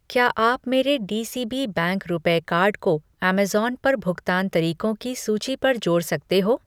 क्या आप मेरे डीसीबी बैंक रुपेय कार्ड को अमेज़न पर भुगतान तरीको की सूची पर जोड़ सकते हो ?